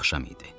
Axşam idi.